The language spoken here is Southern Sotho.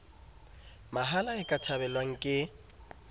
mahala e ka thabelwang ke